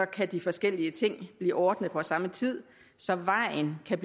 kan de forskellige ting blive ordnet på samme tid så vejen kan